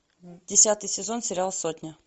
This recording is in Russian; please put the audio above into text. десятый сезон сериал сотня